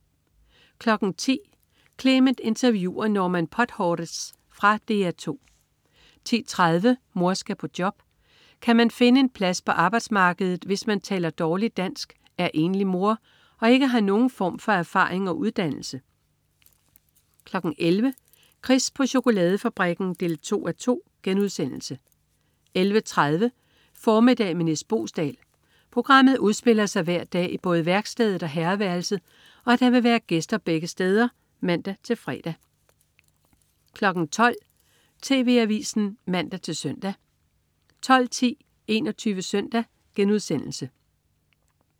10.00 Clement interviewer Norman Podhoretz. Fra DR 2 10.30 Mor skal på job. Kan man finde en plads på arbejdsmarkedet, hvis man taler dårligt dansk, er enlig mor og ikke har nogen form for erfaring og uddannelse? 11.00 Chris på chokoladefabrikken 2:2* 11.30 Formiddag med Nis Boesdal. Programmet udspiller sig hver dag i både værkstedet og herreværelset, og der vil være gæster begge steder (man-fre) 12.00 TV Avisen (man-søn) 12.10 21 Søndag*